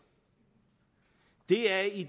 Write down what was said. det er i